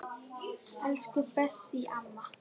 Elsku Bessý amma.